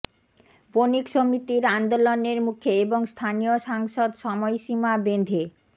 বণিক সমিতির আন্দোলনের মুখে এবং স্থানীয় সাংসদ সময়সীমা বেঁধে